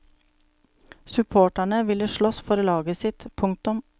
Supporterne ville slåss for laget sitt. punktum